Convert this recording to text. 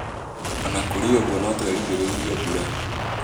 O na kũrĩ ũguo, no twĩrĩgĩrĩre mbura .